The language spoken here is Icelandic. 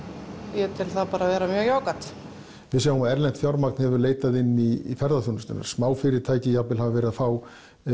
ég tel það vera mjög jákvætt við sjáum að erlent fjármagn hefur leitað inn í ferðaþjónusta smáfyrirtæki hafa jafnvel verið að fá